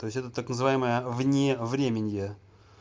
то есть это так называемое вне временье